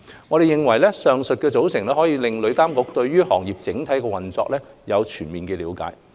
我們認為，上述組成可令旅監局對行業整體運作有全面的了解。